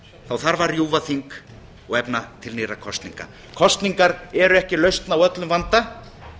þá þarf að rjúfa þing og efna til nýrra kosninga kosningar eru ekki lausn á öllum vanda